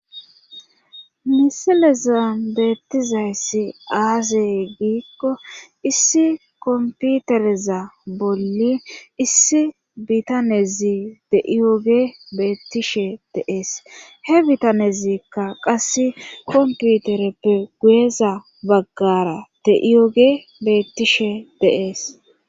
misileza beettizayssi aazey giikko issi komputereza bolli issi bitanezi de iyoge beettishe deees he bitanezikka qasse komputereppe guyeza baggara teiyoge beettishe deees